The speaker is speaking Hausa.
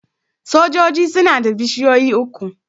Sojoji suna da bishiyoyi uku.